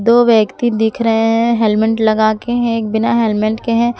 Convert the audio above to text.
दो व्यक्ति दिख रहे है हेलमेंट लगा के एक बिना हेलमेंट के है।